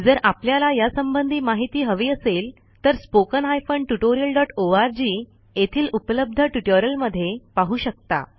जर आपल्याला यासंबंधी माहिती हवी असेल तर httpSpoken Tutorialorg येथील उपलब्ध ट्युटोरियलमध्ये पाहू शकता